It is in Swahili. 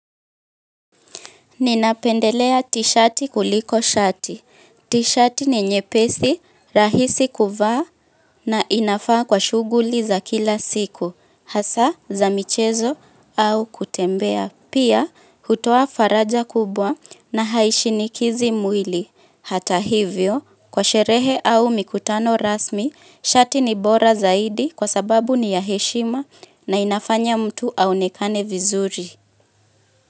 Ninapendelea tishati kuliko shati. Tishati ni nyepesi rahisi kuvaa na inafaa kwa shughuli za kila siku, hasa za michezo au kutembea. Pia, hutoa faraja kubwa na haishinikizi mwili. Hata hivyo, kwa sherehe au mikutano rasmi, shati ni bora zaidi kwa sababu ni ya heshima na inafanya mtu aonekane vizuri.